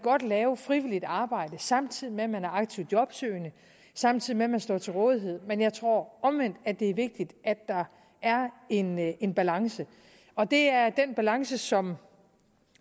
lave frivilligt arbejde samtidig med at man er aktivt jobsøgende samtidig med at man står til rådighed men jeg tror omvendt at det er vigtigt at der er en en balance og det er den balance som